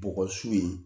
Bɔgɔ su ye